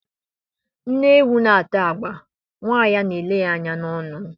Nne ewu na-ata agba, umu ya a na-ele ya anya n'ọnụ.